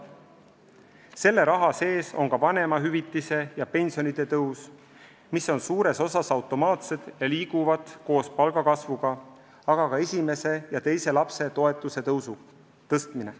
Selle raha sees on ka vanemahüvitise ja pensionite tõus, mis on suures osas automaatsed ja liiguvad koos palgakasvuga, samuti esimese ja teise lapse toetuse tõstmine.